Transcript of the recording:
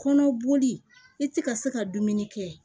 Kɔnɔ boli i ti ka se ka dumuni kɛ